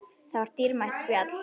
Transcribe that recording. Það var dýrmætt spjall.